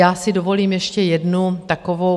Já si dovolím ještě jednu takovou...